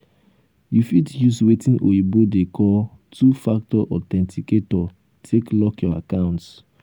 you fit use wetin oyibo dey call two factor authenticator take lock your accounts